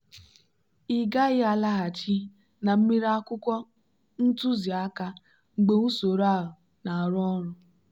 ị gaghị alaghachi na mmiri akwụkwọ ntuziaka mgbe usoro a na-arụ ọrụ.